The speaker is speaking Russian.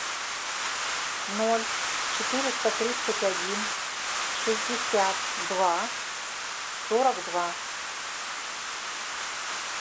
ноль четыреста тридцать один шестьдесят два сорок два